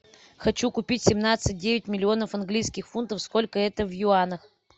хочу купить семнадцать девять миллионов английских фунтов сколько это в юанях